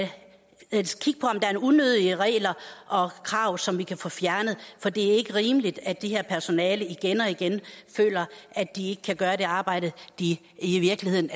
unødige regler og krav som vi kan få fjernet for det er ikke rimeligt at det her personale igen og igen føler at de ikke kan gøre det arbejde de i virkeligheden